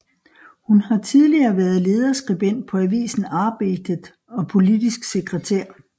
Hun har tidigere været lederskribent på avisen Arbetet og politisk sekretær